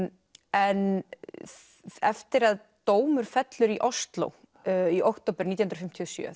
en eftir að dómur fellur í Osló í október nítján hundruð fimmtíu og sjö